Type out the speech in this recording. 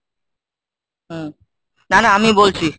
হম, না না আমি বলছি।